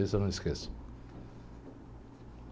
Desse eu não esqueço.